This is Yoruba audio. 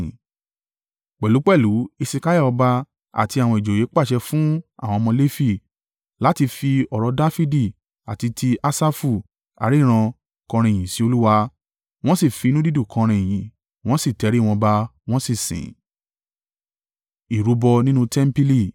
Pẹ̀lúpẹ̀lú Hesekiah ọba, àti àwọn ìjòyè pàṣẹ fún àwọn ọmọ Lefi, láti fi ọ̀rọ̀ Dafidi àti ti Asafu aríran, kọrin ìyìn sí Olúwa: wọ́n sì fi inú dídùn kọrin ìyìn, wọ́n sì tẹrí wọn ba, wọ́n sì sìn.